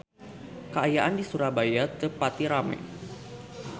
Kaayaan di Surabaya teu pati rame